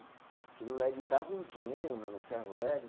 Aquilo lá, ele dava um dinheiro, meu, no ferro velho.